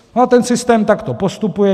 A ten systém takto postupuje.